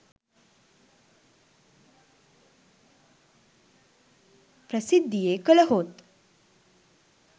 ප්‍රසිද්ධියේ කළහොත්